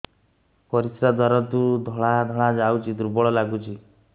ପରିଶ୍ରା ଦ୍ୱାର ରୁ ଧଳା ଧଳା ଯାଉଚି ଦୁର୍ବଳ ଲାଗୁଚି